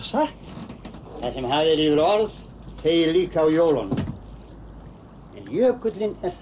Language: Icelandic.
satt það sem hafið er yfir orð þegir líka á jólunum en jökullinn er